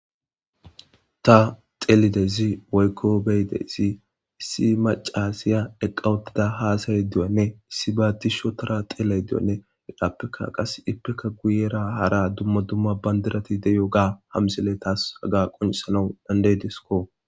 ta xelidezi woykko beyidezi issi macasiya eqqa wottida haasayy diyanne issi baa disho tora xeeley diyanne gidhappeka qas ippeka guyera hara dumma dumma bandirati deyo ga hamsele taas haga qonsalon dandaydiskko